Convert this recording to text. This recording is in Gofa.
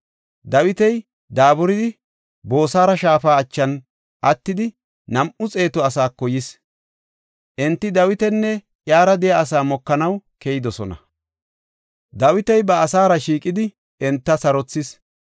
Dawiti daaburidi Boosora shaafa achan attida nam7u xeetu asaako yis. Enti Dawitanne iyara de7iya asaa mokanaw keyidosona. Dawiti ba asaara shiiqidi enta sarothis.